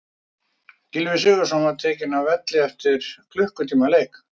Gylfi Sigurðsson var tekinn af velli eftir klukkutíma leik.